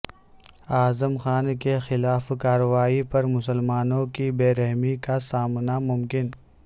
اعظم خان کے خلاف کارروائی پر مسلمانوں کی برہمی کا سامنا ممکن